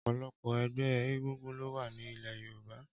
Ọpọlọpọ ẹgbẹ égúngún ló wà ni ilẹ̀ yórùbá